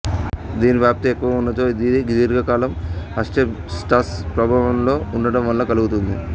దీని వ్యాప్తి ఎక్కువగా ఉన్నచో ఇది దీర్ఘకాలం ఆస్బెస్టాస్ ప్రభావంలో ఉండటం వలన కలుగుతుంది